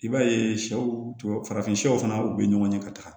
I b'a ye sɛw farafinw fana u bɛ ɲɔgɔn ye ka taga